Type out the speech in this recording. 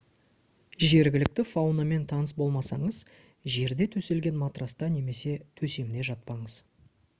жергілікті фаунамен таныс болмасаңыз жерде төселген матраста немесе төсемде жатпаңыз